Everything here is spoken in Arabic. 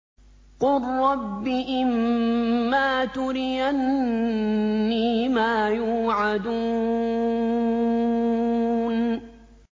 قُل رَّبِّ إِمَّا تُرِيَنِّي مَا يُوعَدُونَ